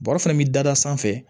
Bɔrɛ fana bi dada sanfɛ